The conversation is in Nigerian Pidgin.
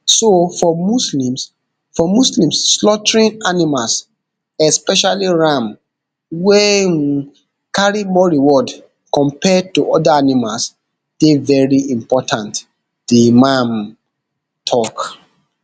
so for muslims for muslims slaughtering animals especially ram wey um carry more reward compared to oda animals dey veri important di imam tok